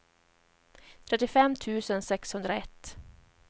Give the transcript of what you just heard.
trettiofem tusen sexhundraett